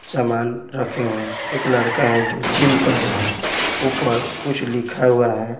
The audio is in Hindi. सामान रखे हुए हैं एक लड़का है जो जिम कर रहा है ऊपर कुछ लिखा हुआ है।